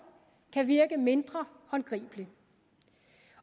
kan virke mindre håndgribelig